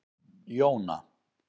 Jóna